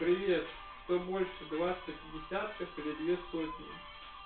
привет что больше двадцать десятков и две сотни